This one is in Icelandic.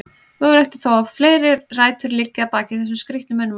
Mögulegt er þó að fleiri rætur liggi að baki þessum skrítnu munnmælum.